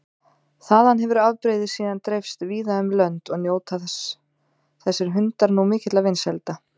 Þaðan hefur afbrigðið síðan dreifst víða um lönd og njóta þessir hundar nú mikilla vinsælda.